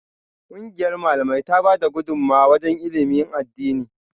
Kungiyar Malamai tana bada gudumawa wajen ilimin addini